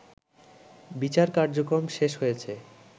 বিচার কার্যক্রম শেষ হয়েছে